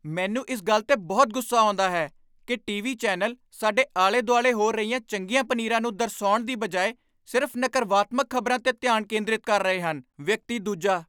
ਮੈਨੂੰ ਇਸ ਗੱਲ 'ਤੇ ਬਹੁਤ ਗੁੱਸਾ ਆਉਂਦਾ ਹੈ ਕੀ ਟੀ.ਵੀ. ਚੈਨਲ ਸਾਡੇ ਆਲੇ ਦੁਆਲੇ ਹੋ ਰਹੀਆਂ ਚੰਗੀਆਂ ਪਨੀਰਾਂ ਨੂੰ ਦਰਸਾਉਣ ਦੀ ਬਜਾਏ ਸਿਰਫ਼ ਨਕਰਵਾਤਮਕ ਖ਼ਬਰਾਂ 'ਤੇ ਧਿਆਨ ਕੇਂਦਰਿਤ ਕਰ ਰਹੇ ਹਨ ਵਿਅਕਤੀ ਦੂਜਾ